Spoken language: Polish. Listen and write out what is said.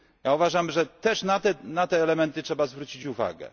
Uważam, że też na te elementy trzeba zwrócić uwagę.